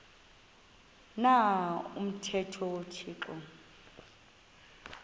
na umthetho uthixo